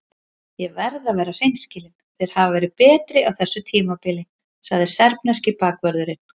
Ég verð að vera hreinskilinn- þeir hafa verið betri á þessu tímabili, sagði serbneski bakvörðurinn.